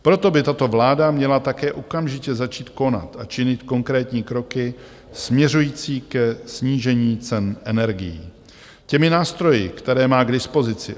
Proto by tato vláda měla také okamžitě začít konat a činit konkrétní kroky směřující ke snížení cen energií těmi nástroji, které má k dispozici.